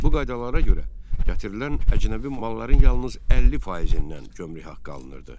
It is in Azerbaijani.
Bu qaydalara görə gətirilən əcnəbi malların yalnız 50%-dən gömrük haqqı alınırdı.